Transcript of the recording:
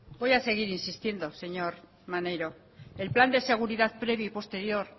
voy a seguir insistiendo señor maneiro el plan de seguridad previo y posterior